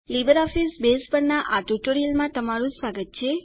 LibreOffice Base પરના આ spoken ટ્યુટોરીયલમાં તમારું સ્વાગત છે